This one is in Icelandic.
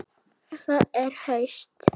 Það er haust.